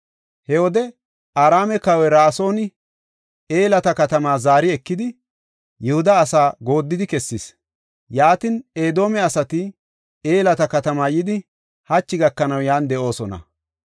He wode Araame kawoy Ra7asooni Elata katama zaari ekidi, Yihuda asa gooddidi kessis. Yaatin Edoome asati Elata katama yidi, hachi gakanaw yan de7oosona.